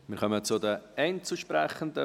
Wir kommen zu den Einzelsprechenden.